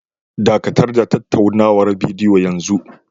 Dakatar da tattaunawar bidiyo yanzu!